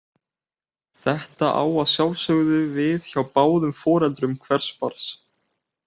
Þetta á að sjálfsögðu við hjá báðum foreldrum hvers barns.